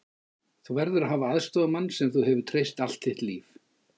Þú verður að hafa aðstoðarmann sem þú hefur treyst allt þitt líf.